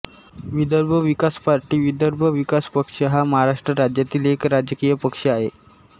Vidarbha Vikas party Vidarbha Vikas Paksha हा महाराष्ट्र राज्यातील एक राजकीय पक्ष आहे